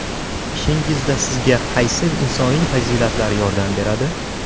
Ishingizda sizga qaysi insoniy fazilatlar yordam beradi?